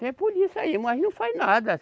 Tem polícia aí, mas não faz nada.